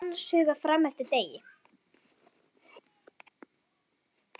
Kamilla var annars hugar fram eftir degi.